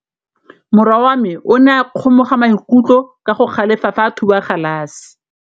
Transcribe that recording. Morwa wa me o ne a kgomoga maikutlo ka go galefa fa a thuba galase.